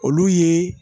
Olu ye